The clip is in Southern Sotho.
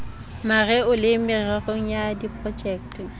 mareo le mererong ya diprojekte